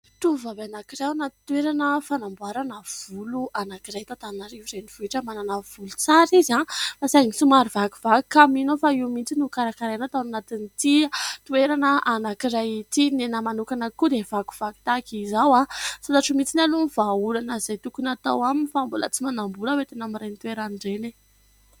Tovovavy anankiray anaty toerana fanamboarana volo anankiray, eto Antananarivo renivohitra. Manana volo tsara izy fa saingy somary vakivaky, ka mino aho fa io mihitsy no karakaraina ato anatin'ity toerana anankiray ity. Ny ahy manokana koa dia vakivaky tahaka izao. Tsy fantatro mihitsy aloha ny vahaolana izay tokony hatao aminy, fa mbola tsy manam-bola aho hoentina amin'ireny toerana ireny e.